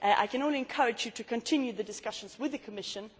I can only encourage you to continue the discussions with the Commission.